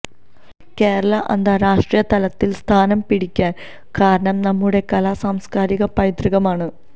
കേരളം ആന്താരാഷ്ട്രീയ തലത്തില് സ്ഥാനം പിടിക്കാന് കാരണം നമ്മുടെ കലാ സാംസ്കാരിക പൈതൃകമാണ്